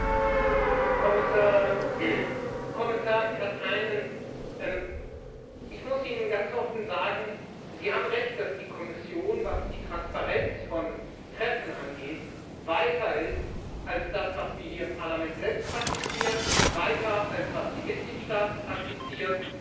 Herr Präsident! Herr Kommissar Katainen, ich muss Ihnen ganz offen sagen Sie haben Recht, dass die Kommission, was die Transparenz von Treffen angeht, weiter ist als das, was wir hier im Parlament selbst praktizieren, weiter als was die Mitgliedstaaten praktizieren.